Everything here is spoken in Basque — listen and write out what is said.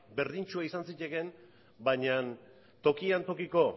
berdintsua izan zitekeen baina tokian tokiko